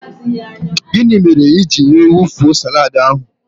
Gịnị mere ijiri wee wufuo salaadi ahụ?